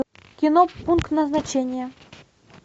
кино пункт назначения